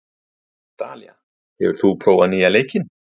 Dalía, hefur þú prófað nýja leikinn?